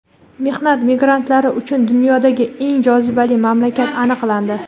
Mehnat migrantlari uchun dunyodagi eng jozibali mamlakat aniqlandi.